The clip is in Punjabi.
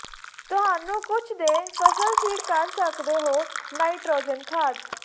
ਤੁਹਾਨੂੰ ਕੁਝ ਦੇ ਫਸਲ ਫੀਡ ਕਰ ਸਕਦੇ ਹੋ ਨਾਈਟ੍ਰੋਜਨ ਖਾਦ